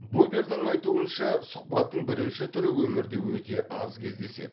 бубердің айтуынша сұхбаттың бірінші түрі өмірде өте аз кездеседі